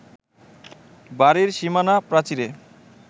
বাড়ির সীমানা প্রাচীরে